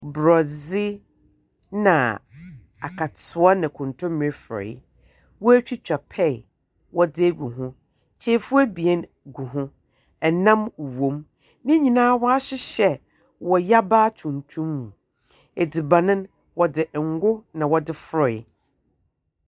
Borɛdze na akatsewa na nkontombire frɔwee, woetwita pear wɔdze egu ho, kyirefua ebien gu ho, nam wɔ mu. Ne nyinara wɔahyehyɛ wɔ yabaa tuntum mu. Edziban no, wɔdze ngo na wɔdze frɔwee.